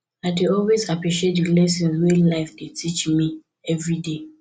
i dey always appreciate di lessons wey life dey teach me evriday